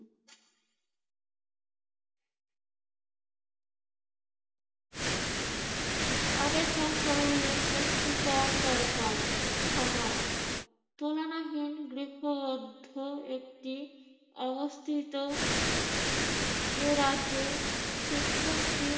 আগে স্বশরীরে পুষ্টিকর দরকার খাবার তুলনাহীন একটি অবস্থিত এই রাজ্যে শিক্ষার্থী